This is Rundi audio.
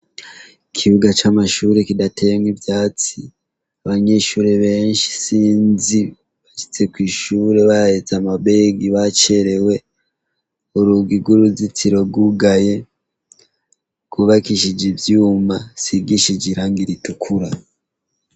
Ikibuga c'amashure kidateyemwo ivyatsi. Abanyeshure benshi isinzi bashitse kw'ishure bahetse amabegi bacerewe. Urugi rw'uruzitiro rwugaye. Gubakishije ivyuma, isigishije irangi ritukura.